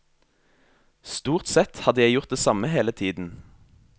Stort sett har jeg gjort det samme hele tiden.